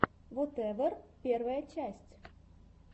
вотэвер первая часть